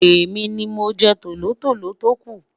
èmi ní mọ jẹ tòlótòló toku